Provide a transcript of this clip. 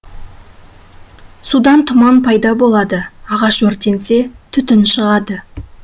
судан тұман пайда болады ағаш өртенсе түтін шығады